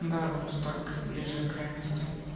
да вот так ближе к реальности